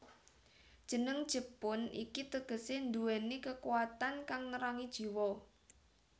Jeneng jepun iki tegesé nduwèni kekuwatan kang nerangi jiwa